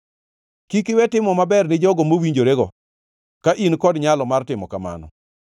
Kik iwe timo maber ni jogo mowinjorego, ka in kod nyalo mar timo kamano.